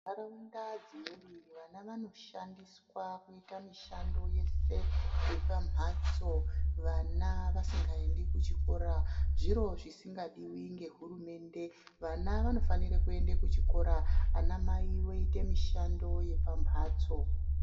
Muntaraunda dzimweni vana vanoshandiswa kuita mishando yese yepamhatso vana vasikaendi kuchikora zviro zvisingadiwi nehurumende vana vanofana kuenda kuchikora vaa mai voita mishando yepamhatso .